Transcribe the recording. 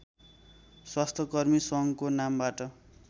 स्वास्थ्यकर्मी सङ्घको नामबाट